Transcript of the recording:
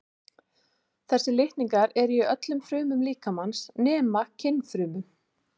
þessir litningar eru í öllum frumum líkamans nema kynfrumunum